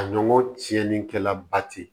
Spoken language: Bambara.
A ɲɔgɔn tiɲɛnenkɛla ba tɛ yen